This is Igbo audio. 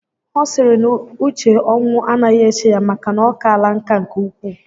Ọ sịrị na uche ọnwụ anaghị eche ya maka na o kaala nkà nke ukwu